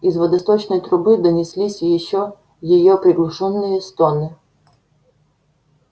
из водосточной трубы донеслись её приглушённые стоны